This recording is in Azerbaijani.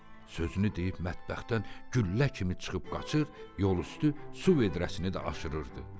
Sözünü deyib mətbəxdən güllə kimi çıxıb qaçır, yol üstü su vedrəsini də aşırırdı.